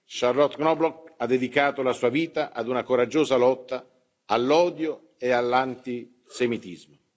Charlotte Knobloch ha dedicato la sua vita ad una coraggiosa lotta all'odio e all'antisemitismo.